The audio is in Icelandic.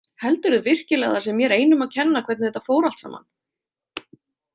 Heldurðu virkilega að það sé mér einum að kenna hvernig þetta fór alltsaman?